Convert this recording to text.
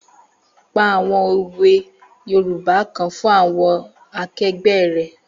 Pa àwọn òwe yoòbá kan fún àwọn akẹgbẹ́ rẹ̀